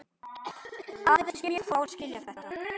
Aðeins mjög fáir skilja þetta.